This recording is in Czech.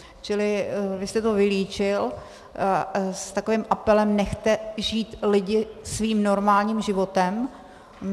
Čili vy jste to vylíčil s takovým apelem - nechte žít lidi svým normálním životem.